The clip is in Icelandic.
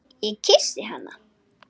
Ég kyssi hana.